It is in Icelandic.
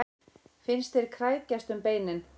Finnast þeir krækjast um beinin.